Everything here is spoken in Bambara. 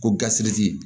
Ko gasi